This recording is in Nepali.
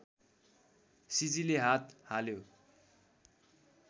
सिजीले हात हाल्यो